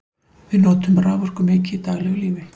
við notum raforku mikið í daglegu lífi